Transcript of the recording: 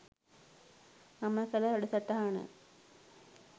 මම කළ වැඩසටහන